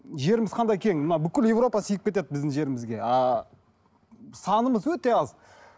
жеріміз қандай кең мына бүкіл европа сиып кетеді біздің жерімізге ааа санымыз өте аз